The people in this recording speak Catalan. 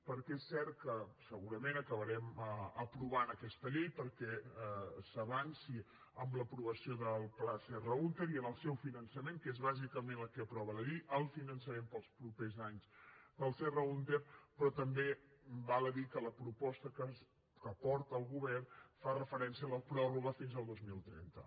perquè és cert que segurament acabarem aprovant aquesta llei perquè s’avanci en l’aprovació del pla serra húnter i en el seu finançament que és bàsicament el que aprova la llei el finançament per als propers anys del serra húnter però també val a dir que la proposta que porta el govern fa referència a la prorroga fins al dos mil trenta